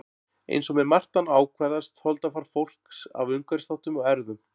Eins og með margt annað ákvarðast holdafar fólks af umhverfisþáttum og erfðum.